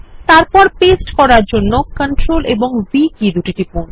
তারপর পেস্ট করার জন্য Ctrl ও V কী দুটি টিপুন